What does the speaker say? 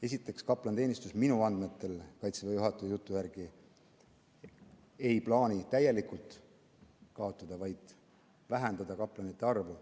Esiteks, kaplaniteenistust minu andmetel, Kaitseväe juhataja jutu järgi ei plaanita täielikult kaotada, vaid vähendatakse kaplanite arvu.